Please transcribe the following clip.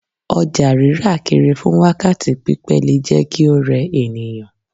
Ọjà rírà kiri fún wákàtí pípẹ́ le jẹ́ kí ó rẹ ènìyàn.